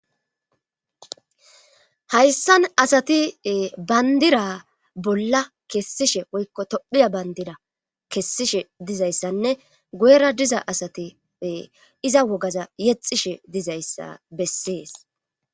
Hayssan asati bayndira bolla kessishe woykko tophiya bandira kessishe dizayssanne goera diza asati iza wogaza yexishe dizayssa bessees